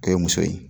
K'o ye muso ye